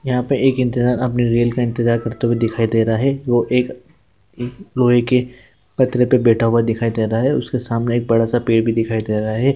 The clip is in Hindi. यहाँ पे एक अपने रेल का इंतजार करते हुए दिखाई दे रहे हैं वो एक लोहे के पत्र पे बैठा हुआ दिखाई दे रहा है| उसके सामने एक बड़ा-सा पेड़ भी दिखाई दे रहा है।